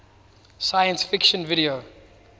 science fiction video